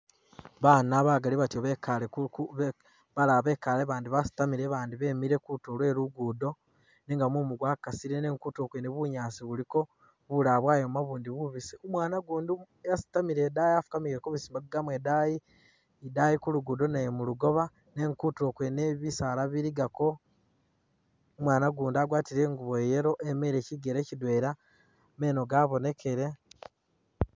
Baana bagaali batyo bekaale kuku balala bekaale abandi basitamile bemile kutulo kwe lugudo nenga mumu gwakasile nenga kutuulo bunyaasi buliko, bulala bwayooma bubundi bubiisi, umwana ugundi wasitamiile idaayi afukamiile kumasigaamo idaayi, idaayi kuluguudo nayo mulugooba nenga kutuulo kwene isi bisaala biligaako, umwana gundi nayo agwatile ingubo iye yellow emiile kigele kidweela meno gabonekele.